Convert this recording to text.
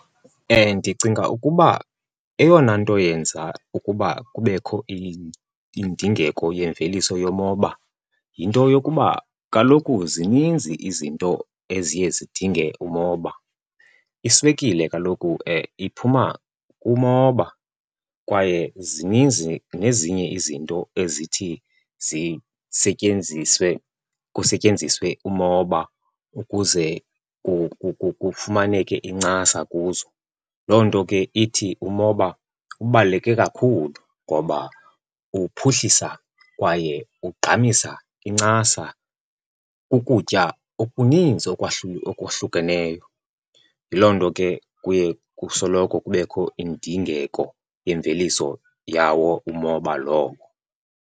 Ndicinga ukuba eyona nto yenza ukuba kubekho indingeko yemveliso yomoba yinto yokuba kaloku zininzi izinto eziye zidinge umoba. Iswekile kaloku iphuma kumoba kwaye zininzi nezinye izinto ezithi zisetyenziswe, kusetyenziswe umoba ukuze kufumaneke incasa kuzo. Loo nto ke ithi umoba ubaluleke kakhulu ngoba uphuhlisa kwaye ugqamisa incasa kukutya okuninzi okuhlukeneyo. Yiloo nto ke kuye kusoloko kubekho indingeko yemveliso yawo umoba lowo.